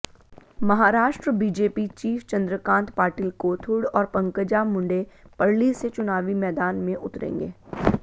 Maharashtra BJP chief Chandrakant Patil Kothrud और पंकजा मुंडे पर्ली से चुनावी मैदान में उतरेंगे